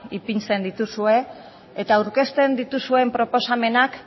ipintzen dituzue eta aurkezten dituzuen proposamenak